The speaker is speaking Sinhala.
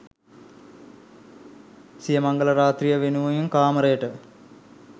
සිය මංගල රාත්‍රිය වෙනුවෙන් කාමරයට